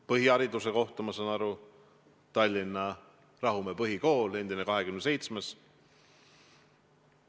Põhihariduse sain ma Tallinna Rahumäe Põhikoolis, see on endine 27. kool.